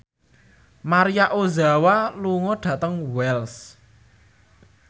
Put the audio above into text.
Maria Ozawa lunga dhateng Wells